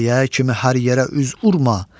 Sayə kimi hər yerə üz vurma,